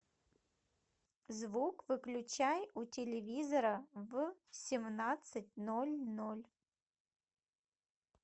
звук выключай у телевизора в семнадцать ноль ноль